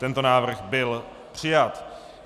Tento návrh byl přijat.